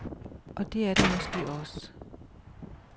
Og det er det måske også.